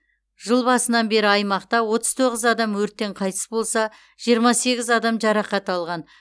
жыл басынан бері аймақта отыз тоғыз адам өрттен қайтыс болса жиырма сегіз адам жарақат алған